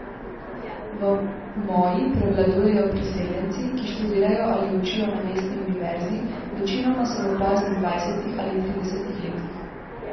V moji prevladujejo priseljenci, ki študirajo ali učijo na mestni univerzi, večinoma so v poznih dvajsetih ali tridesetih letih.